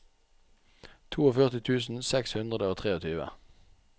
førtito tusen seks hundre og tjuetre